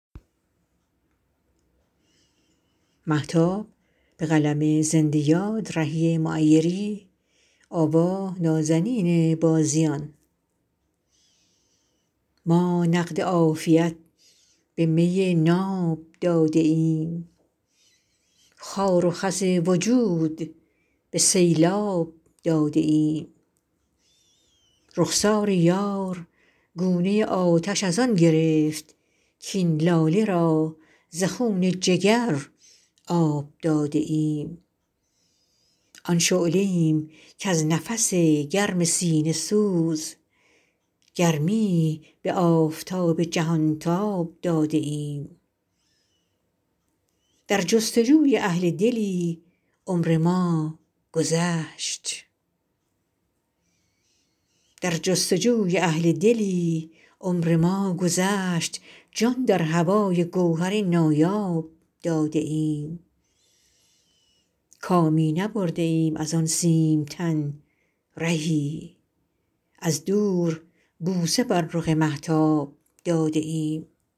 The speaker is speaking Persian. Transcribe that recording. ما نقد عافیت به می ناب داده ایم خار و خس وجود به سیلاب داده ایم رخسار یار گونه آتش از آن گرفت کاین لاله را ز خون جگر آب داده ایم آن شعله ایم کز نفس گرم سینه سوز گرمی به آفتاب جهان تاب داده ایم در جستجوی اهل دلی عمر ما گذشت جان در هوای گوهر نایاب داده ایم کامی نبرده ایم از آن سیم تن رهی از دور بوسه بر رخ مهتاب داده ایم